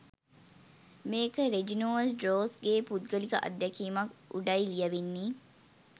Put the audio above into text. මේක Reginald Rose ගේ පුද්ගලික අත්දැකීමක් උඩයි ලියවෙන්නෙ.